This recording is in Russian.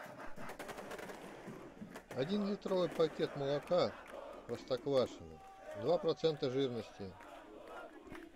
один литровый пакет молока простоквашино два процента жирности